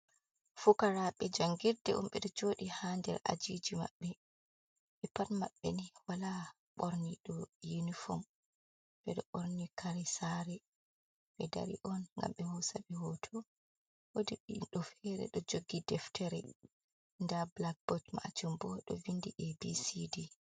Fukaraaɓe jangirde on, ɓeɗo joodi haa der ajiiji maɓɓe. Ɓe pat maɓɓe ni walaa mo ɓorni yunifom, ɓe ɗo ɓorni kare saari, ɓe dari on gam ɓe hoosa ɓe hooto. Woodi goɗɗo feere ɗo jogi deftere, daa bilakbot maajun bo ɗo windi abcd.